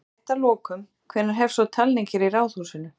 Bara rétt að lokum, hvenær hefst svo talning hér í Ráðhúsinu?